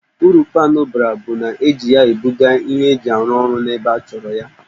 Uru paanụ bara bụ, e ji ya e buga ihe eji arụ orụ n'ebe a chọrọ ha